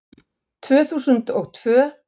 Tvö þúsund og tvö